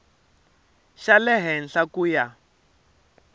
xa le henhla ku ya